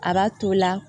A b'a to la